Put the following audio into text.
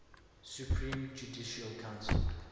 supreme judicial council